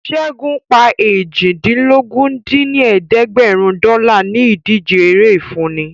Ṣẹ́gun pa eéjìdínlógún dín ní ẹ̀ẹ́dẹ́gbẹ́rún dọ́là ní ìdíje eré ìfúnni